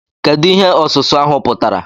Kedu ihe ọsụsụ ahụ pụtara?